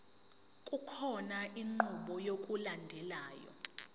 kukhona inqubo yokulandelayo